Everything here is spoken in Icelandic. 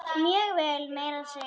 Mjög vel, meira að segja.